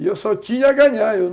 E eu só tinha a ganhar, eu